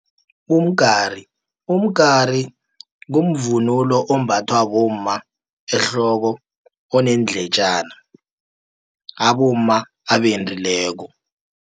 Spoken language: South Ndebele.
Umgari kumvunulo ombathwa bomma ehloko, oneendletjana abomma abendileko.